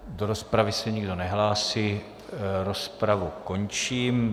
Do rozpravy se nikdo nehlásí, rozpravu končím.